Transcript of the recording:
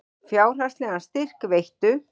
Fjárhagslegan styrk veittu